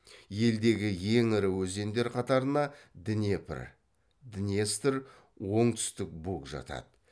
елдегі ең ірі өзендер қатарына днепр днестр оңтүстік буг жатады